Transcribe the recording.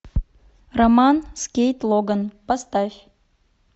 роман с кейт логан поставь